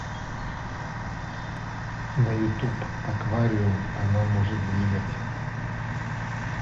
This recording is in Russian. на ютуб аквариум она может двигать